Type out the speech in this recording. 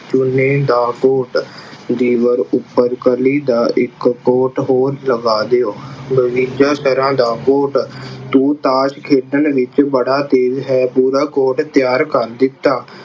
ਦਾ coat ਦੀਵਾਰ ਉੱਪਰ ਕਲੀ ਦਾ ਇੱਕ ਕੋਟ ਹੋਰ ਲਗਾ ਦਿਉ। ਤਰ੍ਹਾਂ ਦਾ ਕੋਟ ਤੂੰ ਤਾਸ਼ ਖੇਡਣ ਵਿੱਚ ਬੜਾ ਤੇਜ਼ ਹੈ ਪੂਰਾ ਕੋਟ ਤਿਆਰ ਕਰ ਦਿੱਤਾ।